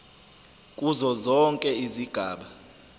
kuzo zonke izigaba